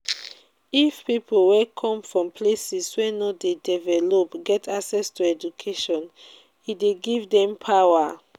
if pipo wey come from places wey no de developed get access to education e de give dem power